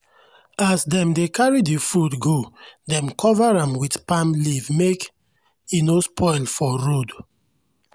as dem dey carry the food go dem cover am with palm leaf make e no spoil for road.